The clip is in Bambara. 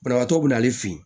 Banabaatɔ be n'ale fe yen